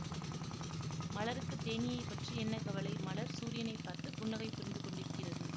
மலருக்குத் தேனீயைப் பற்றி என்ன கவலை மலர் சூரியனைப் பார்த்து புன்னகை புரிந்து கொண்டிருக்கிறது